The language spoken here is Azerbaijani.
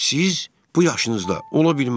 Siz bu yaşınızda, ola bilməz.